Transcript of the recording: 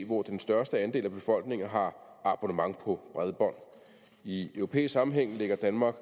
hvor den største andel af befolkningen har abonnement på bredbånd i europæisk sammenhæng ligger danmark